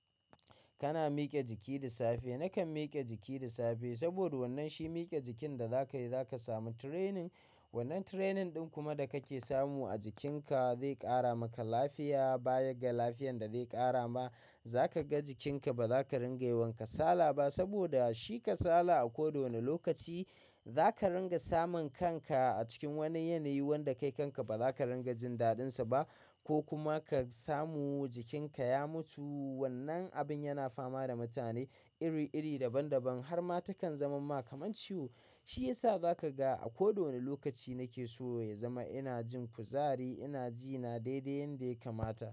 Kana mike jiki da safe? Nakan mike jiki da safe, saboda wannan shi mike jikin da zaka yi, zaka samu training. Wannan training ɗin kuma da kake samu a jikinka zai ƙara maka lafiya. Bayan ga lafiyan da zai ƙara ma, za ka ga jikinka ba za ka ringa yi wa kasala ba, saboda shi kasala a koda wani lokaci za ka ringa samun kanka a cikin wani yanayi wanda kai kanka ba za ka ringa jin daɗinsa ba, ko kuma ka samu jikinka ya mutu. Wannan abin yana fama da mutane iri-iri, daban-daban, har ma takan zamamma kamar ciwo. Shi yasa za ka ga, a koda wani lokaci nake so ya zama ina jin kuzari, ina ji na daidai yanda ya kamata.